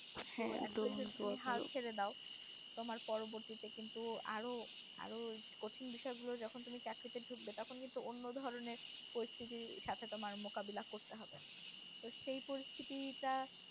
ছেড়ে দাও তোমার পরবর্তীতে কিন্তু একটু কঠিন বিষয় গুলো যখন তুমি চাকরিতে ঢুকবে তো অন্য ধরনের পরিস্থিতির সাথে তোমার মোকাবিলা করতে হবে তো সেই পরিস্থিতিটা